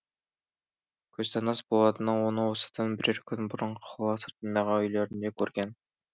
көзтаныс болатыны оны осыдан бірер күн бұрын қала сыртындағы үйлерінде көрген